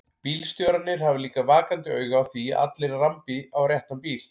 Bílstjórarnir hafa líka vakandi auga á því að allir rambi á réttan bíl.